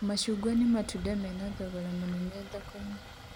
Macungwa nĩ matunda mena thogora mũnene thoko-inĩ